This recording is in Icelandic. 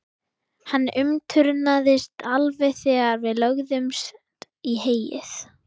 Hann umturnaðist alveg þegar við lögðumst í heyið.